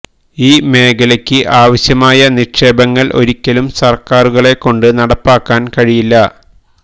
ഈ മേഖലക്ക് ആവശ്യമായ നിക്ഷേപങ്ങൾ ഒരിക്കലും സർക്കാരുകളെ കൊണ്ട് നടപ്പാക്കാൻ കഴിയില്ല